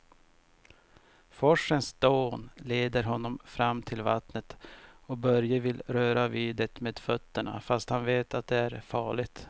Forsens dån leder honom fram till vattnet och Börje vill röra vid det med fötterna, fast han vet att det är farligt.